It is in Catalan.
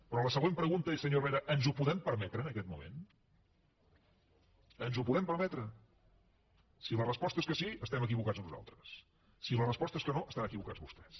però la següent pregunta és senyor herrera ens ho podem permetre en aquest moment ens ho podem permetre si la resposta és que sí estem equivocats nosaltres si la resposta és que no estan equivocats vostès